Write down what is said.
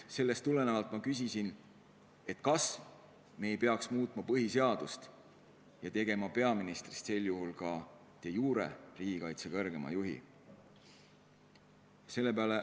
Sellest tulenevalt ma küsisin, kas me ei peaks muutma põhiseadust ja tegema peaministrist sel juhul ka de jure riigikaitse kõrgeima juhi.